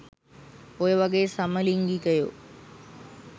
ඔය වගේ සමලිංගිකයෝ